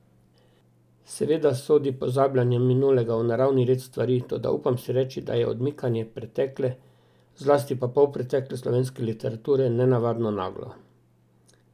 Seveda sodi pozabljanje minulega v naravni red stvari, toda upam si reči, da je odmikanje pretekle, zlasti pa polpretekle slovenske literature, nenavadno naglo.